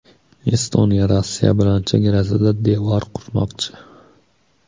Estoniya Rossiya bilan chegarasida devor qurmoqchi.